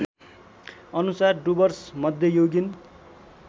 अनुसार डुवर्स मध्ययुगीन